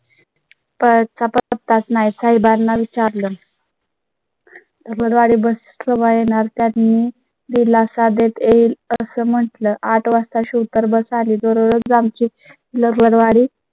परत चा पत्ताच नाही. काही बार ना विचारलं . रवाडी bus केव्हा येणार त्यात मी दिलासा देता येईल असं म्हटलंआठ वाजता शो तर bus आली दररोज आमची वारी